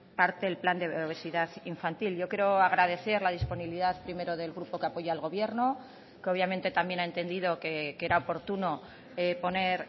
parte el plan de obesidad infantil yo quiero agradecer la disponibilidad primero del grupo que apoya al gobierno que obviamente también ha entendido que era oportuno poner